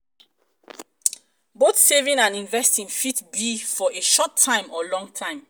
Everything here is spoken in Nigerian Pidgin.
both saving and investing fit be for a short time or long time